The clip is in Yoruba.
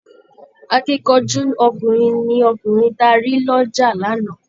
Akíkanjú ọkùnrin ni ọkùnrin ta rí lọ́jà lánàá